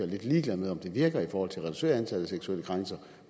lidt ligeglad med om det virker i forhold til at reducere antallet af seksuelle krænkelser